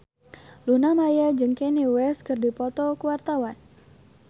Luna Maya jeung Kanye West keur dipoto ku wartawan